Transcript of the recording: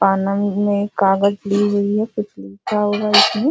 में कागज ली हुई है कुछ लिखा हुआ है इसमें।